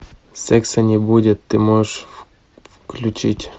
секса не будет ты можешь включить